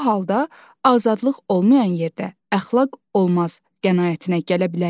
Bu halda azadlıq olmayan yerdə əxlaq olmaz qənaətinə gələ bilərik?